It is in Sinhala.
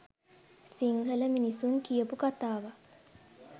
සිංහල මිනිසුන් කියපු කතාවක්.